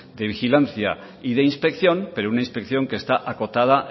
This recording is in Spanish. de vigilancia y de inspección pero una inspección que está acotada